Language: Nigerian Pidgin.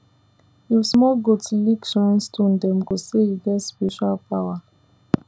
if small goat lick shrine stone dem go say e get spiritual power